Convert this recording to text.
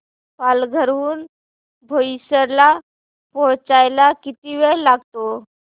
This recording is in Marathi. पालघर हून बोईसर ला पोहचायला किती वेळ लागतो